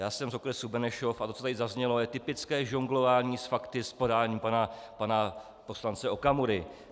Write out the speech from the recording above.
Já jsem z okresu Benešov a to, co tady zaznělo, je typické žonglování s fakty v podání pana poslance Okamury.